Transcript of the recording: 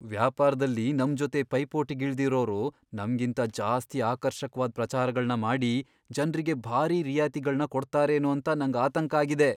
ವ್ಯಾಪಾರ್ದಲ್ಲಿ ನಮ್ಜೊತೆ ಪೈಪೋಟಿಗಿಳ್ದಿರೋರು ನಮ್ಗಿಂತ ಜಾಸ್ತಿ ಆಕರ್ಷಕ್ವಾದ್ ಪ್ರಚಾರಗಳ್ನ ಮಾಡಿ, ಜನ್ರಿಗೆ ಭಾರೀ ರಿಯಾಯ್ತಿಗಳ್ನ ಕೊಡ್ತಾರೇನೋ ಅಂತ ನಂಗ್ ಆತಂಕ ಆಗ್ತಿದೆ.